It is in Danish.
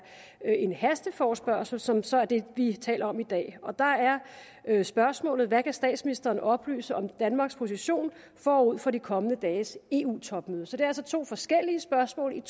er en hasteforespørgsel som så er den vi taler om i dag og der er spørgsmålet hvad kan statsministeren oplyse om danmarks position forud for de kommende dages eu topmøde så det er altså to forskellige spørgsmål